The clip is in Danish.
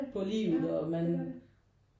På livet og man